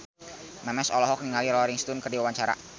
Memes olohok ningali Rolling Stone keur diwawancara